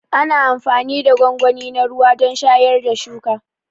Ana amfani da gwangwani na ruwa don shayar da shuka.